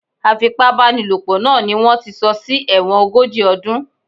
Afipábánilòpọ̀ naa ni wón ti sọ sí ẹ̀wọ̀n ogójì ọdún.